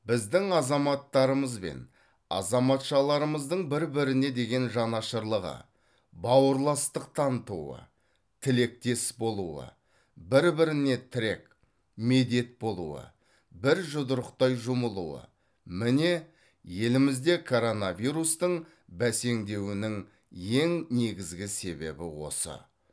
біздің азаматтарымыз бен азаматшаларымыздың бір біріне деген жанашырлығы бауырластық танытуы тілектес болуы бір біріне тірек медет болуы бір жұдырықтай жұмылуы міне елімізде коронавирустың бәсеңдеуінің ең негізгі себебі осы